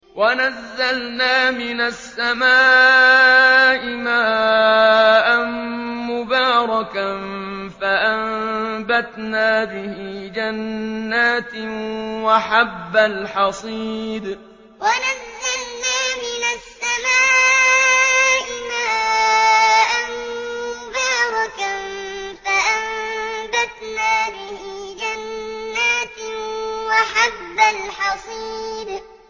وَنَزَّلْنَا مِنَ السَّمَاءِ مَاءً مُّبَارَكًا فَأَنبَتْنَا بِهِ جَنَّاتٍ وَحَبَّ الْحَصِيدِ وَنَزَّلْنَا مِنَ السَّمَاءِ مَاءً مُّبَارَكًا فَأَنبَتْنَا بِهِ جَنَّاتٍ وَحَبَّ الْحَصِيدِ